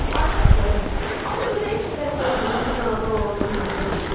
Ay Qasım, axı ördəyin çəpərə qonduğunu biz anadan olandan görməmişik.